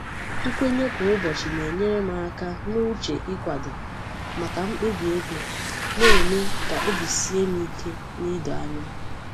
Nkwenye kwa ụbọchị na-enyere m aka n'uche ịkwado maka mkpebi ego, na-eme ka obi sie m ike na idoanya.